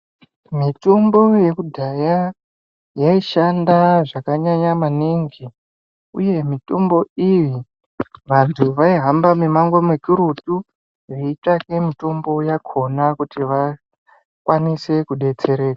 Mitombo yekudhaya yaishanda zvakanyanya maningi uye mitombo iyi vantu vaihamba mimango mukurutu veitsvake mitombo yakhona kuti vakwanise kudetsereka.